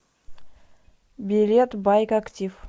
билет байк актив